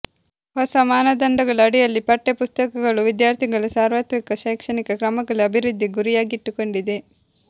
ಹೊಸ ಮಾನದಂಡಗಳ ಅಡಿಯಲ್ಲಿ ಪಠ್ಯಪುಸ್ತಕಗಳು ವಿದ್ಯಾರ್ಥಿಗಳ ಸಾರ್ವತ್ರಿಕ ಶೈಕ್ಷಣಿಕ ಕ್ರಮಗಳು ಅಭಿವೃದ್ಧಿ ಗುರಿಯಾಗಿಟ್ಟುಕೊಂಡಿದೆ